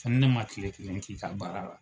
Fɔ ni ne ma kile kelen k'i ka baara la